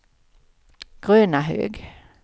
Grönahög